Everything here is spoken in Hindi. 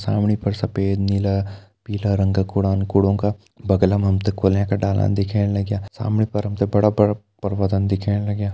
सामने पर सफ़ेद नीला पीला रंग कू कूड़ान कूड़ों का बगल मा हम तैं कोलियाँ का डालां दिखेण लग्यां सामने पर हम तैं बड़ा-बड़ा पर्वतन दिखेण लग्यां।